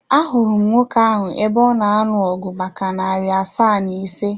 Ahụrụ m nwoke ahụ ebe ọ na anụ ọgu maka narị asaa na ise.